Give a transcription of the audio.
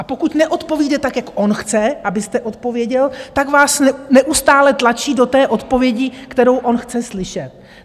A pokud neodpovíte tak, jak on chce, abyste odpověděl, tak vás neustále tlačí do té odpovědi, kterou on chce slyšet.